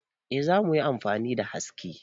Eh za mu yi amfani da haske.